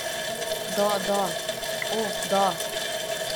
Da, da, o, da!